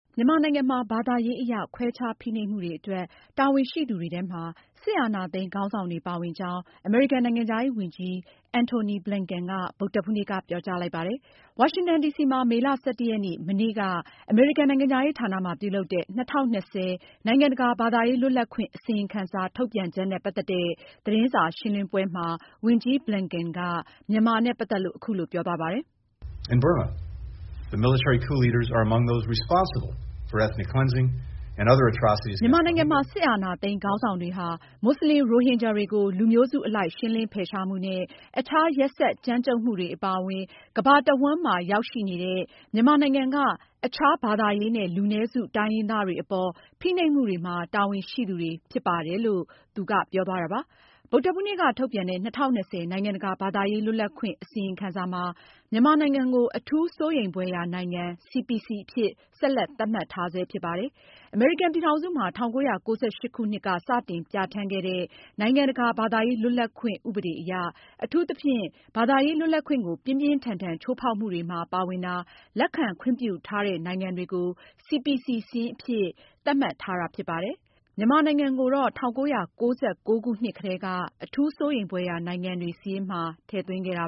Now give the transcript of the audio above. မြန်မာနိုင်ငံမှာ ဘာသာရေးအရခွဲခြား ဖိနှိပ်မှုတွေအတွက် တာဝန်ရှိသူတွေထဲမှာ စစ်အာဏာသိမ်းခေါင်းဆောင်တွေပါဝင်ကြောင်း အမေရိကန်နိုင်ငံခြားရေးဝန်ကြီး Antony Blinken က ဗုဒ္ဓဟူးနေ့က ပြောကြားလိုက်ပါတယ်။ ဝါရှင်တန်ဒီစီမှာ မေလ ရက် မနေ့က အမေရိကန် နိုင်ငံခြားရေးဌာန မှာ ပြုလုပ်တဲ့ ၂၀၂၀ နိုင်ငံတကာ ဘာသာရေးလွတ်လပ်ခွင့် အစီရင်ခံစာ ထုတ်ပြန်ချက်နဲ့ ပတ်သက်တဲ့ သတင်းစာရှင်းလင်းပွဲမှာ ဝန်ကြီး Blinken က မြန်မာနဲ့ ပတ်သက်လို့ အခုလိုပြောသွားပါတယ်။ ”မြန်မာနိုင်ငံမှာ စစ်အာဏာသိမ်းခေါင်းဆောင်တွေဟာ မွတ်စလင် ရိုဟင်ဂျာတွေကို လူမျိုးစုအလိုက်ရှင်းလင်းဖယ်ရှားမှုနဲ့ အခြားရက်စက်ကြမ်းကြုတ်မှုတွေအပါအဝင် ကမ္ဘာတဝှမ်းမှာရောက်ရှိနေတဲ့ မြန်မာနိုင်ငံက အခြားဘာသာရေးနဲ့လူနည်းစု တိုင်းရင်းသားတွေအပေါ် ဖိနှိပ်မှုတွေမှာ တာဝန်ရှိသူတွေဖြစ်ပါတယ်။” ဗုဒ္ဓဟူးနေ့က ထုတ်ပြန်တဲ့ ၂၀၂၀ နိုင်ငံတကာ ဘာသာရေးလွတ်လပ်ခွင့် အစီရင်ခံစာမှာ- မြန်မာနိုင်ငံကို အထူးစိုးရိမ်ဖွယ်ရာနိုင်ငံ အဖြစ်ဆက်လက်သတ်မှတ်ထားဆဲဖြစ်ပါတယ်။ အမေရိကန်ပြည်ထောင်စုမှာ ၁၉၉၈ခုနှစ်က စတင်ပြဌာန်းခဲ့တဲ့ နိုင်ငံတကာဘာသာရေးလွတ်လပ်ခွင့် ဥပဒေအရ အထူးသဖြင့် ဘာသာရေးလွတ်လပ်ခွင့်ကို ပြင်းပြင်းထန်ထန် ချိုးဖောက်မှုတွေမှာပါဝင်တာ၊ လက်ခံခွင့်ပြုထားတဲ့ နိုင်ငံတွေကို CPC စာရင်းအဖြစ် သတ်မှတ်ထားတာဖြစ်ပါတယ်။ မြန်မာနိုင်ငံကိုတော့ ၁၉ ၉ ၉ ခုနှစ်က စပြီး အထူးစိုးရိမ်ဖွယ်ရာနိုင်ငံစာရင်းထဲမှာ ထည့်သွင်းခဲ့တာ